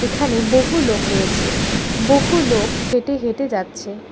এখানে বহু লোক রয়েছে বহু লোক হেঁটে হেঁটে যাচ্ছে।